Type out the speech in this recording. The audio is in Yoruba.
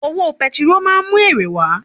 Òwò petiró máa ń mú èrè wá